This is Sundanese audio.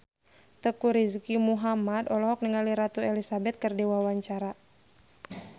Teuku Rizky Muhammad olohok ningali Ratu Elizabeth keur diwawancara